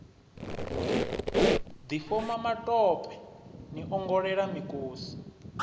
difhoma matope ni ongolela mikosi